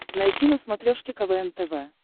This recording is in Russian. найти на смотрешке квн тв